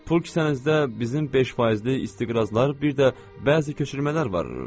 Pul kisənizdə bizim 5 faizli istiqrazlar, bir də bəzi köçürmələr var.